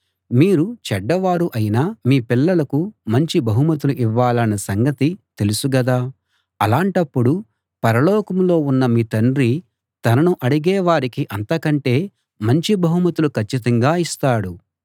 మీరు చెడ్డ వారు అయినా మీ పిల్లలకు మంచి బహుమతులు ఇవ్వాలన్న సంగతి తెలుసు గదా అలాంటప్పుడు పరలోకంలో ఉన్న మీ తండ్రి తనను అడిగే వారికి అంతకంటే మంచి బహుమతులు కచ్చితంగా ఇస్తాడు